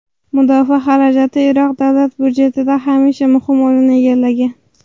Mudofaa xarajati Iroq davlat budjetida hamisha muhim o‘rin egallagan.